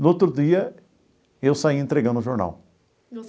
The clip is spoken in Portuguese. No outro dia, eu saía entregando o jornal.